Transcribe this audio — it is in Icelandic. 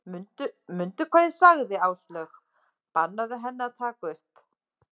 Mundu hvað ég sagði sagði Áslaug, bannaðu henni að taka upp